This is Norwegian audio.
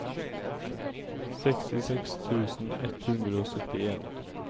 sekstiseks tusen ett hundre og syttien